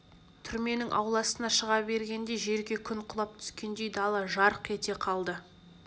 түрменің ауласына шыға бергенде жерге күн құлап түскендей дала жарқ ете қалды